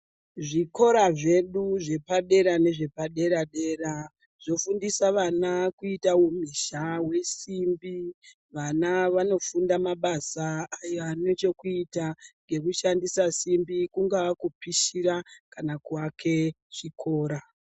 Zvikora zvedu zvepadera nezvepadera dera kugundisa vana kuita humhizha hwesimbi vana vanofunda mabasa ane chekuita nesimbi kungakupishira kana kuake chikora.